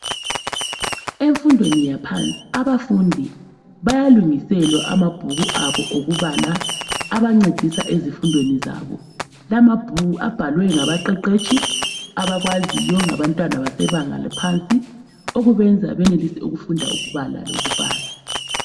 Emfundweni yaphansi abafundi bayalungiselwa amabhuku abo okubala abancedisa ezifundweni zabo. Lamabhuku abhalwe ngabaqeqetshi abakwaziyo ngabantwana besebanga laphansi okwenza benelise ukufunda ukubala lokubhala.